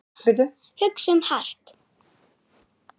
Hugsum hart.